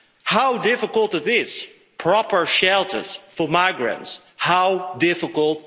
How difficult is it, proper shelters for migrants, how difficult?